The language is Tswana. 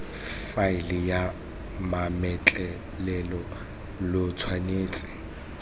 faeleng ya mametlelelo lo tshwanetse